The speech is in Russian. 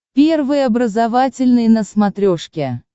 первый образовательный на смотрешке